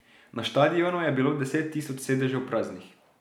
Na štadionu je bilo deset tisoč sedežev praznih.